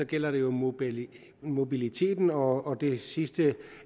gælder det jo mobiliteten mobiliteten og det sidste